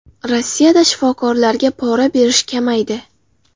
Rossiyada shifokorlarga pora berish kamaydi.